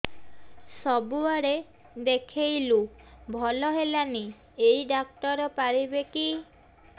ସବୁଆଡେ ଦେଖେଇଲୁ ଭଲ ହେଲାନି ଏଇ ଡ଼ାକ୍ତର ପାରିବେ କି